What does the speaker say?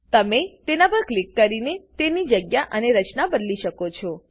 તમે તેના પર ક્લિક કરીને તેની જગ્યા અને રચના બદલી શકો છો